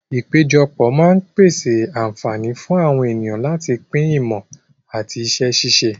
Ìpéjọpọ̀ máa ń pèsè àǹfààní fún àwọn ènìyàn láti pín ìmọ̀ àti iṣẹ́ ṣíṣe.